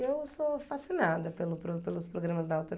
Eu sou fascinada pelo pro pelos programas da